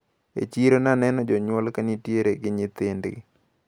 E chiro naneno jonyuol kanitiere gi nyithindgi.